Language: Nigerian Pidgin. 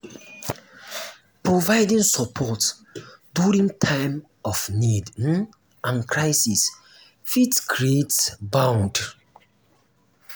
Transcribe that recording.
providing support during time of need um and crisis fit um create bond